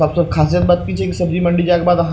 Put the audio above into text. सबसे खासे बात इ छै कि सब्जी मंडी जाय के बाद आहां --